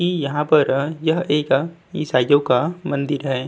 इ यहां पर यह एक ईसाइयों का मंदिर है।